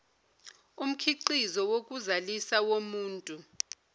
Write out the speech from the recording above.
umkhiqizo wokuzalisa womuntu